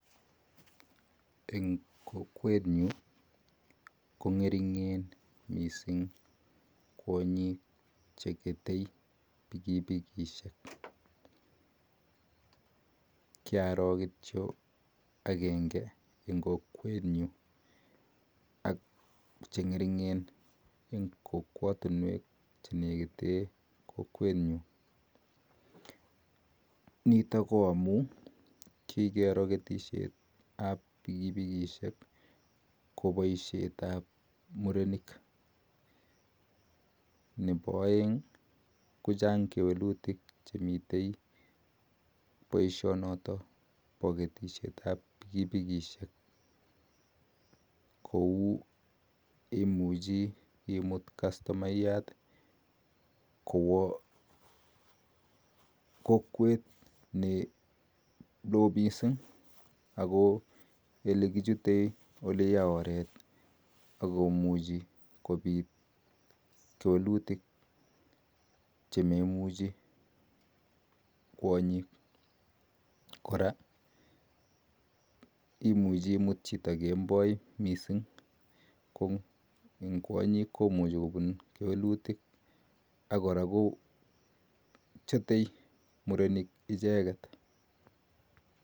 Eng kokwen nyuun kongeringeen missssing kwonyik chekete pikipikisheeek kyroo kityo agengee eng kokwet nenegit koraa nito ko amuun murenik misssing chekete pikipikisheek kochang kewelutik chechang neea imuchii imut chito eng oreet ne yaa misssing